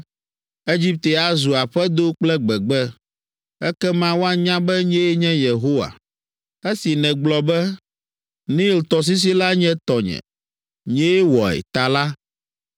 Egipte azu aƒedo kple gbegbe. Ekema woanya be nyee nye Yehowa.” “ ‘Esi nègblɔ be, “Nil tɔsisi la nye tɔnye, nyee wɔe” ta la,